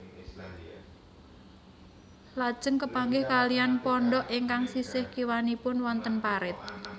Lajeng kepanggih kaliyan pondhok ingkang sisih kiwanipun wonten parit